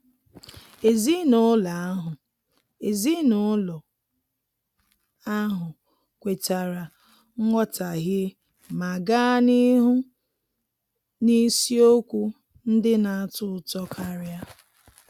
Ezinụlọ ahụ Ezinụlọ ahụ kwetara nghọtahie ma gaa n'ihu n'isiokwu ndị na-atọ ụtọ karia.